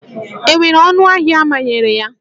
E nwere ọnụ ahịa a manyere ya?